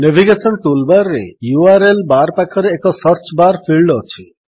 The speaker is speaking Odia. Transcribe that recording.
ନେଭିଗେଶନ୍ ଟୁଲ୍ ବାର୍ ରେ ୟୁଆରଏଲ୍ ବାର୍ ପାଖରେ ଏକ ସର୍ଚ୍ଚ ବାର୍ ଫିଲ୍ଡ ଅଛି